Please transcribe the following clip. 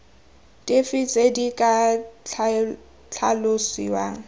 dife tse di ka tlhalosiwang